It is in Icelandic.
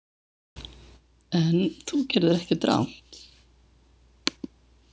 En þú gerðir ekkert rangt.